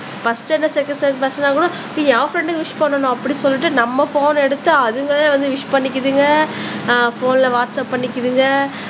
first standard second standard பசங்க எல்லாம் கூட என் ஃப்ரண்டுக்கு விஷ் பண்ணனும் அப்படின்னு சொல்லிட்டு நம்ம போன எடுத்து அதுங்களே வந்து விஷ் பண்ணிக்குதுங்க ஆஹ் போன்ல வாட்ஸ் அப் பண்ணிக்குதுங்க